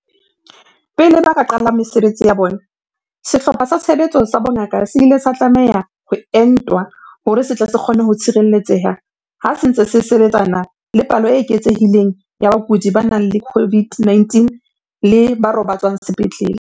Pele ba ka qala ka mesebetsi ya bona, Sehlopha sa Tshebetso sa Bongaka se ile sa tlameha ho entwa hore se tle se kgone ho tshireletseha ha se ntse se sebe tsana le palo e eketsehileng ya bakudi ba nang le COVID-19 le ba robatswang sepetlele.